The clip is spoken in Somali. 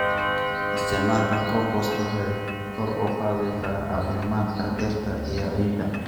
Isticmaalka compost waxay kor u qaadaysaa caafimaadka dhirta iyo ciidda.